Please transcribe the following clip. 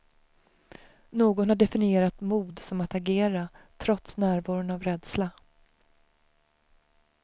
Någon har definierat mod som att agera, trots närvaron av rädsla.